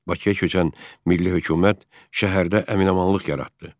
Bakıya köçən milli hökumət şəhərdə əminamanlıq yaratdı.